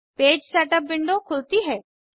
page setup window खुलती है